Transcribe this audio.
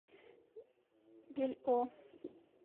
бельо